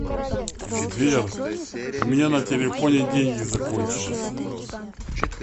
сбер у меня на телефоне деньги закончились